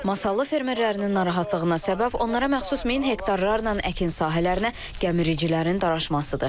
Masallı fermerlərinin narahatlığına səbəx onlara məxsus min hektarlarla əkin sahələrinə gəmiricilərin daraşmasıdır.